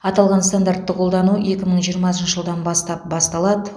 аталған стандартты қолдану екі мың жиырмасыншы жылдан бастап басталады